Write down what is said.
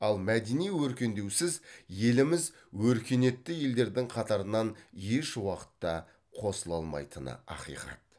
ал мәдени өркендеусіз еліміз өркениетті елдердің қатарына еш уақытта қосыла алмайтыны ақиқат